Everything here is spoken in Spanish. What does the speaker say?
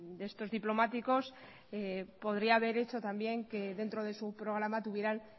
de estos diplomáticos podría haber hecho también que dentro de su programa tuvieran